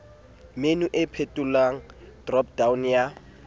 menu e phuthollang dropdown ya